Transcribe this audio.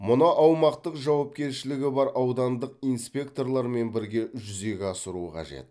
мұны аумақтық жауапкершілігі бар аудандық инспекторлармен бірге жүзеге асыру қажет